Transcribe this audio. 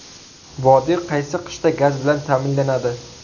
Vodiy qaysi qishda gaz bilan ta’minlanadi?